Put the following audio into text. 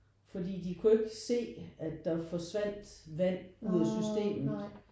Fordi de kunne ikke se at der forsvandt vand ud af systemet